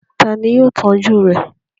Ta ni yóò tọ́jú rẹ̀?